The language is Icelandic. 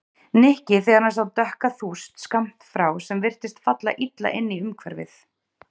Nikki þegar hann sá dökka þúst skammt frá sem virtist falla illa inn í umhverfið.